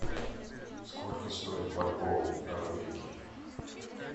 сколько стоит бальбоа в норвегии